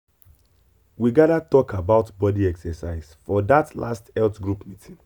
after i read one article about exercise i begin follow one new way wey fit me well.